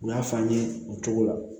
U y'a fɔ an ye o cogo la